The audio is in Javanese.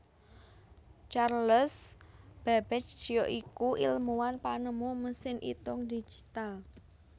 Charles Babbage ya iku ilmuwan penemu mesin itung digital